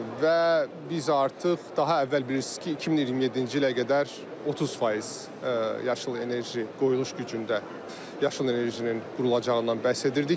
Və biz artıq daha əvvəl bilirsiz ki, 2027-ci ilə qədər 30% yaşıl enerji qoyuluş gücündə yaşıl enerjinin qurulacağından bəhs edirdik.